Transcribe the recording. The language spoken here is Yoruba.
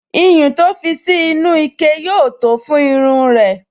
Iyùn to fi sí inú ike yóò tó fún irun rẹ̀